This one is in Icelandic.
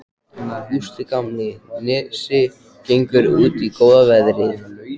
Gústi gamli á Nesi gengur út í góða veðrið.